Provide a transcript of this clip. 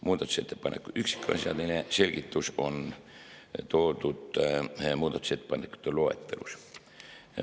Muudatusettepaneku üksikasjalik selgitus on toodud muudatusettepanekute loetelus.